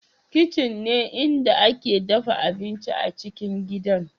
Kitchen ne inda ake dafa abinci a cikin gidan